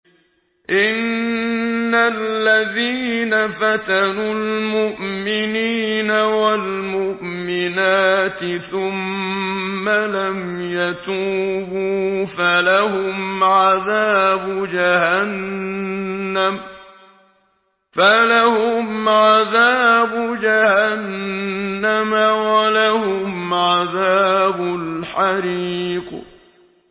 إِنَّ الَّذِينَ فَتَنُوا الْمُؤْمِنِينَ وَالْمُؤْمِنَاتِ ثُمَّ لَمْ يَتُوبُوا فَلَهُمْ عَذَابُ جَهَنَّمَ وَلَهُمْ عَذَابُ الْحَرِيقِ